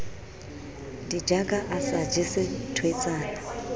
ditjaka a sa jese thweetsana